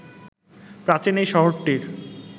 প্রাচীন এই শহরটির